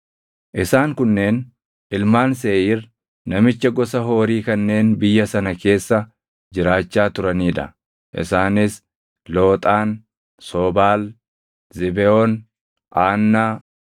Isaan kunneen ilmaan Seeʼiir namicha gosa Hoorii kanneen biyya sana keessa jiraachaa turanii dha; isaanis: Looxaan, Sobaal, Zibeʼoon, Aannaa,